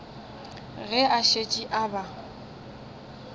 ge a šetše a ba